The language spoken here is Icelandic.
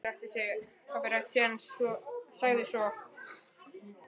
Pabbi ræskti sig en sagði svo